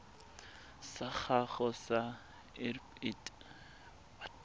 sa gago sa irp it